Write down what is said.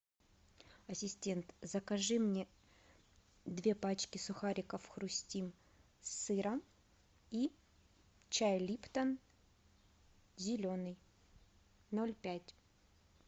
ассистент закажи мне две пачки сухариков хрустим с сыром и чай липтон зеленый ноль пять